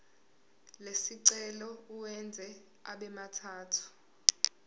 lesicelo uwenze abemathathu